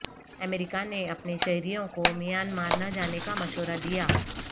امریکہ نے اپنے شہریوں کو میانمار نہ جانے کا مشورہ دیا